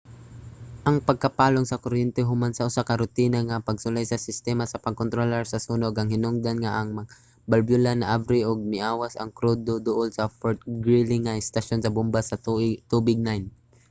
ang pagkapalong sa kuryente human sa usa ka rutina nga pagsulay sa sistema sa pagkontrolar sa sunog ang hinungdan nga ang mga balbula naabri ug miawas ang krudo duol sa fort greely nga estasyon sa bomba sa tubig 9